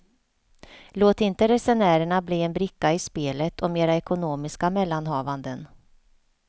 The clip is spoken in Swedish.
Låt inte resenärerna bli en bricka i spelet om era ekonomiska mellanhavanden.